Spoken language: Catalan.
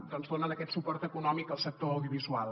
doncs donen aquest suport econòmic al sector audiovisual